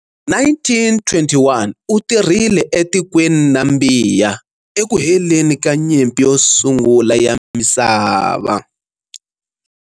1921 u tirhile etikweni Nambiya eku heleni ka nyimpi yo sungula ya misava.